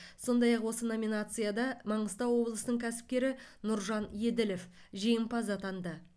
сондай ақ осы номинацияда маңғыстау облысының кәсіпкері нұржан еділов жеңімпаз атанды